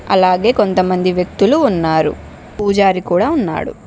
అలాగే కొంతమంది వ్యక్తులు ఉన్నారు పూజారీ కూడా ఉన్నాడు.